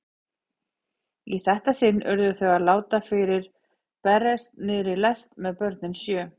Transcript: Í þetta sinn urðu þau að láta fyrir berast niðri í lest með börnin sjö.